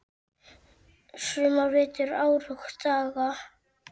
sumar, vetur, ár og daga.